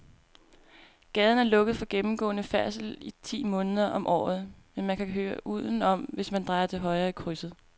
Gaden er lukket for gennemgående færdsel ti måneder om året, men man kan køre udenom, hvis man drejer til højre i krydset.